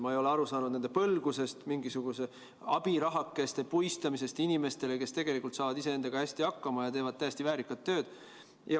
Ma ei ole aru saanud nende põlgusest ning mingisuguse abiraha puistamisest inimestele, kes tegelikult saavad iseendaga hästi hakkama ja teevad täiesti väärikat tööd.